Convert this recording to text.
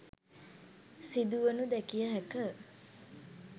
සිදුවනු දැකිය හැක.